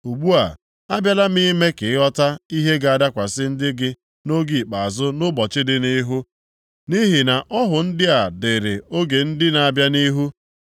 Ugbu a, abịala m ime ka ị ghọta ihe ga-adakwasị ndị gị nʼoge ikpeazụ nʼụbọchị dị nʼihu. Nʼihi na ọhụ ndị a dịrị oge ndị na-abịa nʼihu.”